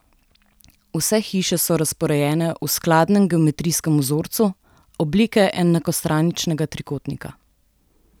Vse hiše so razporejene v skladnem geometrijskem vzorcu, oblike enakostraničnega trikotnika.